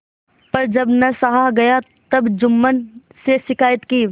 पर जब न सहा गया तब जुम्मन से शिकायत की